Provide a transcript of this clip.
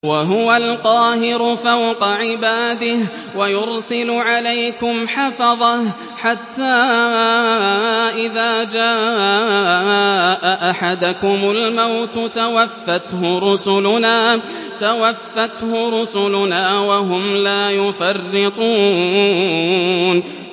وَهُوَ الْقَاهِرُ فَوْقَ عِبَادِهِ ۖ وَيُرْسِلُ عَلَيْكُمْ حَفَظَةً حَتَّىٰ إِذَا جَاءَ أَحَدَكُمُ الْمَوْتُ تَوَفَّتْهُ رُسُلُنَا وَهُمْ لَا يُفَرِّطُونَ